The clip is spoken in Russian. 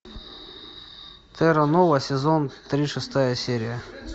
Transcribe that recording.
терра нова сезон три шестая серия